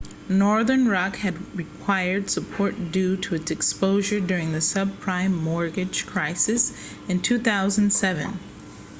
northern rock had required support due to its exposure during the subprime mortgage crisis in 2007